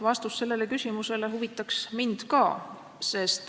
Vastus sellele küsimusele huvitab mind ka.